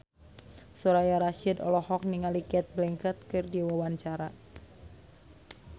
Soraya Rasyid olohok ningali Cate Blanchett keur diwawancara